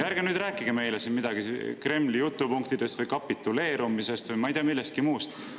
Ärge rääkige meile siin midagi Kremli jutupunktidest või kapituleerumisest või ei tea millest muust.